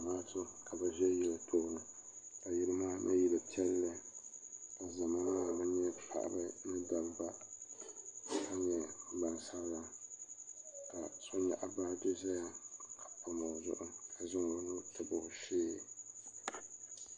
zamaatu ka be ʒɛ yili tuuni ka yili maa nyɛ yili piɛli ka zama maa mi nyɛ paɣ' ba ni da ba ka nyɛ gbasabila ka so nyɛgi baaji n ʒɛya ka pami o zuɣ' ka zaŋ o nu tabi o shɛɛ